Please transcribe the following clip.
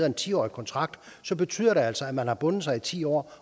en tiårig kontrakt så betyder det altså at man har bundet sig i ti år